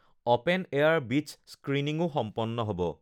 open air beach স্ক্ৰীণিংও সম্পন্ন হ ব